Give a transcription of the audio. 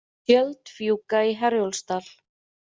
Tjöld fjúka í Herjólfsdal